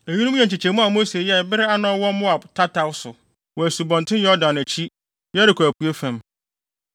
Eyinom yɛ nkyekyɛmu a Mose yɛe bere a na ɔwɔ Moab tataw so, wɔ Asubɔnten Yordan akyi, Yeriko apuei fam.